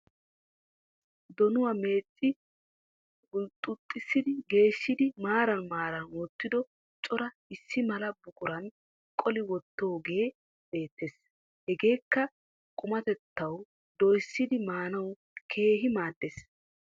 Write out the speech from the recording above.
Donuwaa meecci hulxxuxxissi geeshshidi maaran maaran wottido cora issi mala buquran qoli wottoogee beettes. Hageekka qumatettawu doyissidi maanawu keehi maaddes.